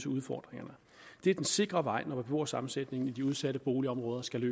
udfordringerne det er den sikre vej når beboersammensætningen i de udsatte boligområder skal